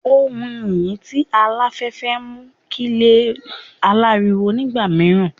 Ohùn yiyi ti alafẹfẹ mu ki ile alariwo nigba miiran